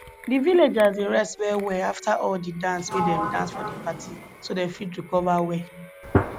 di villagers dey rest well well afta all di dance wey dem dance for di party so dem fit recover well